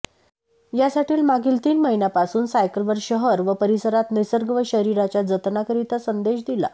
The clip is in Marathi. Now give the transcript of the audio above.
यासाठी मागील तीन महिन्यांपासून सायकलवर शहर व परिसरात निसर्ग व शरीराच्या जतनाकरिता संदेश दिला